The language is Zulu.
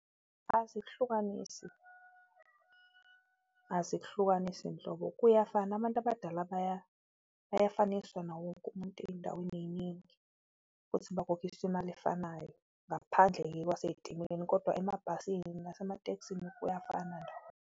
Azihlukanisi, azihlukanisi nhlobo. Kuyafana abantu abadala bayafaniswa nawo wonke umuntu eyindaweni eyiningi futhi bakhokhiswa imali efanayo. Ngaphandle-ke kwaseyitimeleni kodwa emabhasini nasematekisini kuyafana-ke.